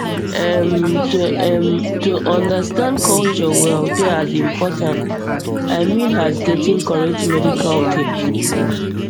erm to erm to understand culture well dey as importan i mean as getting correct medical care